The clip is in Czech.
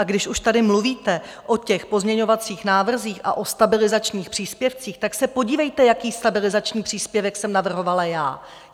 A když už tady mluvíte o těch pozměňovacích návrzích a o stabilizačních příspěvcích, tak se podívejte, jaký stabilizační příspěvek jsem navrhovala já.